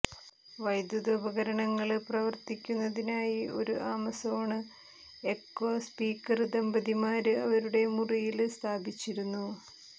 വൈദ്യുത ഉപകരണങ്ങള് പ്രവര്ത്തിക്കുന്നതിനായി ഒരു ആമസോണ് എക്കോ സ്പീക്കര് ദമ്പതിമാര് അവരുടെ മുറിയില് സ്ഥാപിച്ചിരുന്നു